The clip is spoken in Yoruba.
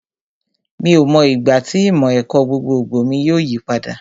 Mi ò mọ ìgbà tí ìmọ̀ ẹ̀kọ́ gbogbogbò mi yóò yí padà